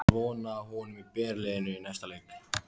Er von á honum í byrjunarliðinu í næsta leik?